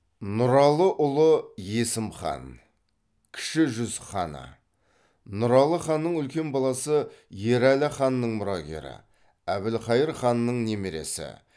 нұралыұлы есім хан кіші жүз ханы нұралы ханның үлкен баласы ерәлі ханның мұрагері әбілқайыр ханның немересі